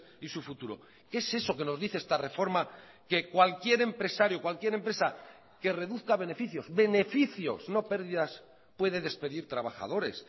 y su futuro qué es eso que nos dice esta reforma que cualquier empresario cualquier empresa que reduzca beneficios beneficios no pérdidas puede despedir trabajadores